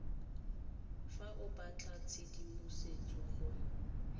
fa o batla tshedimosetso go